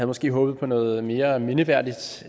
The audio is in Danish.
måske håbet på noget mere mindeværdigt